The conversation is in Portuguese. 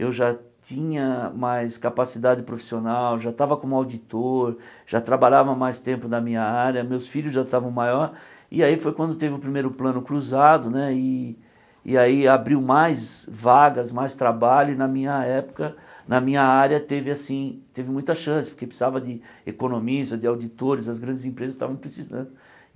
eu já tinha mais capacidade profissional, já estava como auditor, já trabalhava mais tempo na minha área, meus filhos já estavam maiores, e aí foi quando teve o primeiro plano cruzado né, e e aí abriu mais vagas, mais trabalho, e na minha época, na minha área, teve assim teve muita chance, porque precisava de economistas, de auditores, as grandes empresas estavam precisando.